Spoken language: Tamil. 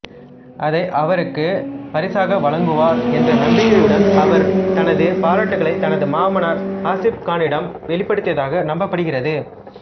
அதை அவருக்கு பரிசாக வழங்குவார் என்ற நம்பிக்கையுடன் அவர் தனது பாராட்டுகளை தனது மாமனார் ஆசிப் கானிடம் வெளிப்படுத்தியதாக நம்பப்படுகிறது